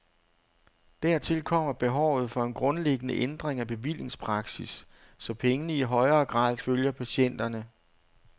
Dertil kommer behovet for en grundlæggende ændring af bevillingspraksis, så pengene i højere grad følger patienterne.